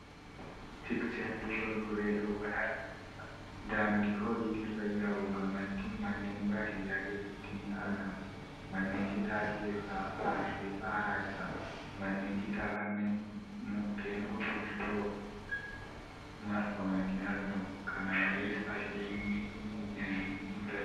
Tikseen duuba goree loowwan haleelaa jira. Daandii horiin irra yaa'uu gamatti manneen baadiyyaa keessatti ni argamu Manneen citaa keessaa aarri aaraa jira. Manneen citaa kunneen mukkeen gurguddoon marfamanii argamu. Kana malees, asheenni midhaanii ni mul'ata.